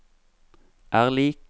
er lik